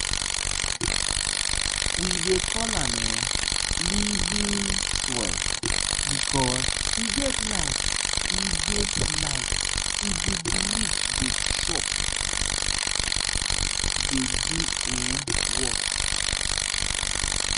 we dey call am um ‘living soil’ because e get life e get life e dey breathe dey chop dey do um work.